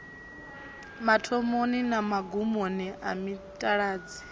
mathomoni na magumoni a mitaladzi